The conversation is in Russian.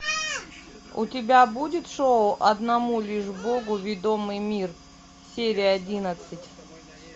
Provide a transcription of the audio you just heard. у тебя будет шоу одному лишь богу ведомый мир серия одиннадцать